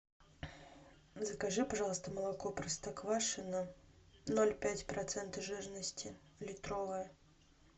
закажи пожалуйста молоко простоквашино ноль пять процента жирности литровое